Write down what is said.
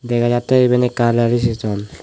dega jatte iben ole ekkan reception.